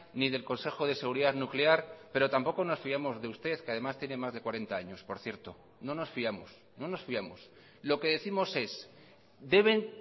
ni del consejo de seguridad nuclear pero tampoco nos fiamos de usted que además tiene más de cuarenta años por cierto no nos fiamos no nos fiamos lo que décimos es deben